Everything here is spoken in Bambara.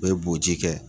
O ye booji kɛ